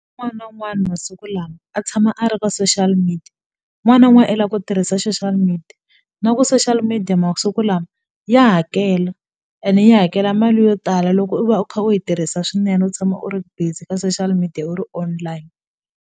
N'wana na wun'wani masiku lama a tshama a ri ka social media n'wana i la ku tirhisa social media na ku social media masiku lama ya hakela ene yi hakela mali yo tala loko u va u kha u yi tirhisa swinene u tshama u ri busy ka social media u ri online.